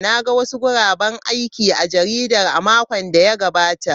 Na ga wasu guraben aiki a jarida a makon da ya gabata.